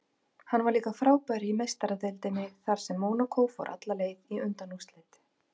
Hann var líka frábær í Meistaradeildinni þar sem Mónakó fór alla leið í undanúrslit.